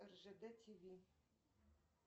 ржд ти ви